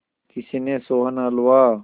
किसी ने सोहन हलवा